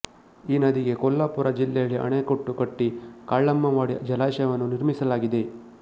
ಈ ನದಿಗೆ ಕೊಲ್ಲಾಪುರ ಜಿಲ್ಲೆಯಲ್ಲಿ ಆಣೆಕಟ್ಟು ಕಟ್ಟಿ ಕಾಳಮ್ಮವಾಡಿ ಜಲಾಶಯವನ್ನು ನಿರ್ಮಿಸಲಾಗಿದೆ